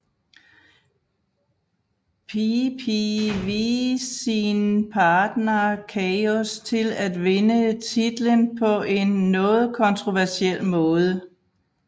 PPV sin partner Chaos til at vinde titlen på en noget kontroversiel måde